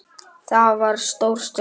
Það var stór stund.